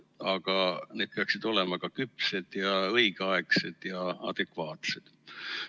Aga need peaksid olema ka küpsed ja õigeaegsed ja adekvaatsed.